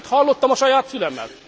Itt hallottam a saját fülemmel.